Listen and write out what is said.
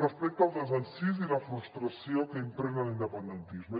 respecte al desencís i la frustració que impregna l’independentisme